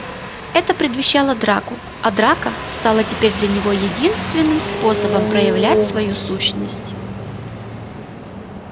это предвещало драку а драка стала теперь для него единственным способом проявлять свою сущность